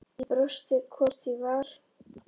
Ég brosti, hvort ég var!